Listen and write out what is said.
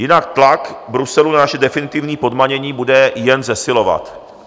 Jinak tlak Bruselu na naše definitivní podmanění bude jen zesilovat.